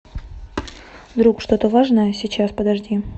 вдруг что то важное сейчас подожди